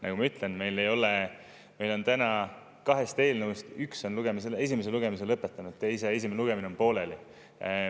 Nagu ma ütlesin, meil on täna kahest eelnõust ühe esimene lugemine lõpetatud, teise esimene lugemine on pooleli.